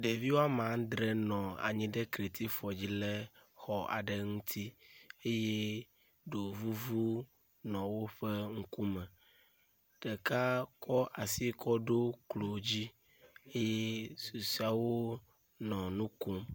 Ɖevi woame andre nɔ anyi ɖe kratifɔ dzi le xɔ ale ŋuti eye ɖovuvu nɔ woƒe ŋkume. Ɖeka kɔ asi kɔ ɖo klo dzi eye susɔeawo nɔ nu kom.